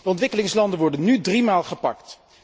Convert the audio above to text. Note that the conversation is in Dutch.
De ontwikkelingslanden worden nu drie maal gepakt.